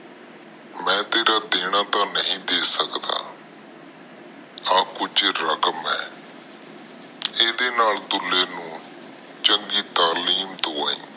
ਮੈਂ ਤੇਰਾ ਦੇਣਾ ਤਾ ਨਹੁਈ ਦੇ ਸਕਦਾ ਇਹ ਕੁਜ ਰਕਮ ਆ ਏਡੇ ਨਾਲ ਦੁਲੇ ਨੂੰ ਚੰਗੀ ਤਾਹਲਕੀਮ ਦਵਾਈ